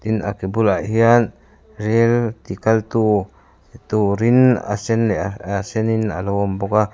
tin a ke bulah hian rail tikal tu turin a sen a sen in alo awm bawk a.